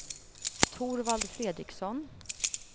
Torvald Fredriksson